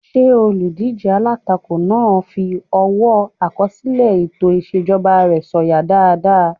Ṣé olùdíjé alátakò náà fi ọwọ́ àkọsílẹ̀ ètò ìṣèjọba rẹ̀ sọ̀yà dáadáa?